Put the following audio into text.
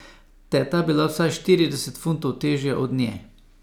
Teta je bila vsaj štirideset funtov težja od nje.